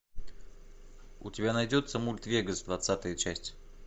у тебя найдется мульт вегас двадцатая часть